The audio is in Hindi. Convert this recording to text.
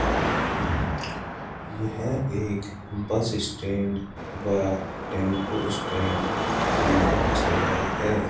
यह एक बस स्टैंड व टेंपो स्टैंड की जगह है।